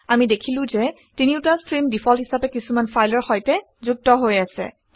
আমি দেখিলো যে তিনিওটা ষ্ট্ৰীম ডিফল্ট হিচাপে কিছুমান ফাইলৰ সৈতে যুক্ত হৈ আছে